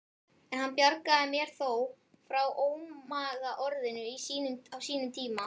En hann bjargaði mér þó frá ómagaorðinu á sínum tíma.